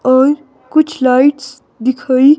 और कुछ लाइट्स दिखाई --